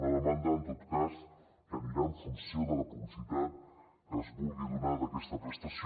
una demanda en tot cas que anirà en funció de la publicitat que es vulgui donar d’aquesta prestació